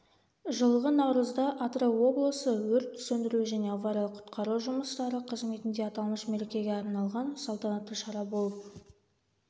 жылғы наурызда атырау облысы өрт сөндіру және авариялық-құтқару жұмыстары қызметінде аталмыш мерекеге арналған салтанатты шара болып